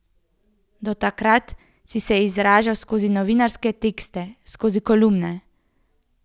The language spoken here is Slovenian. Do takrat si se izražal skozi novinarske tekste, skozi kolumne.